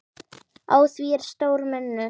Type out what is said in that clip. Á því er stór munur.